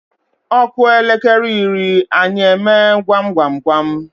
Ọ kụọ elekere iri, anyị emee gwam gwam gwam.